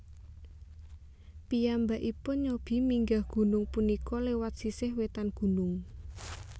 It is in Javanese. Piyambakipun nyobi minggah gunung punika lewat sisih wetan gunung